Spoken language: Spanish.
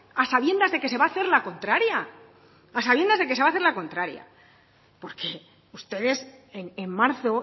a sabiendas de que se va a hacer la contraria a sabiendas de que se va a hacer la contraria porque ustedes en marzo